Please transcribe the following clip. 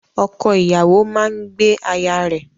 Ọkọ-ìyàwó máa ń gbé aya rẹ.